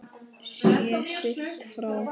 Sé siglt frá